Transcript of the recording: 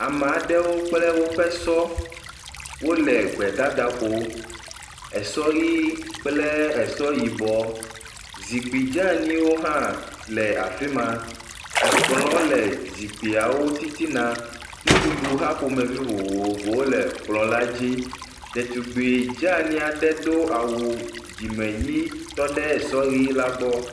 Ame aɖewo kple woƒe sɔ wole gbedada ƒo, esɔ ʋi kple esɔ yibɔ, zikpui dze anyiwo hã wole afi ma, ekplɔ le zikpuiawo titina, nuɖuɖu hã ƒomevi vovovowo le kpleɔ la dzi. Ɖetugbui dzeanyi aɖe do awu dzime ʋi aɖe tɔ ɖe sɔ la gbɔ.